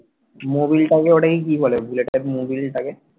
মবিলটাকে ওটাকে কি বলে বুলেটে মবিলটাকে